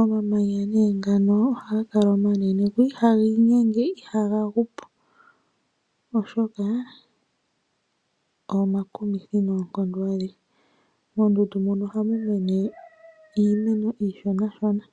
Omamanya nee ngano ohaga kala omanene go ihaga inyenge, ihaga gu po oshoka omakumithi noonkondo adhihe. Moondundu mono ohamu mene iimeno iishonashona.